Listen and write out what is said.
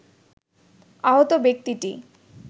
আহত ব্যক্তিটি